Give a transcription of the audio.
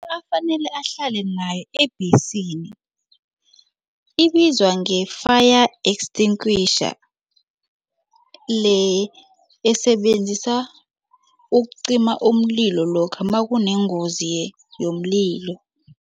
Into afanele ahlale nayo ebhesini ibizwa nge-fire extinguisher le esebenzisa ukucima umlilo lokha makunengozi yomlilo.